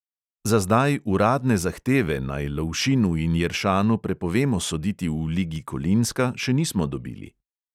Za zdaj uradne zahteve, naj lovšinu in jeršanu prepovemo soditi v ligi kolinska, še nismo dobili.